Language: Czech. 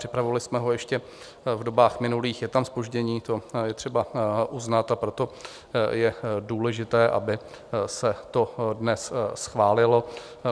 Připravovali jsme ho ještě v dobách minulých, je tam zpoždění, to je třeba uznat, a proto je důležité, aby se to dnes schválilo.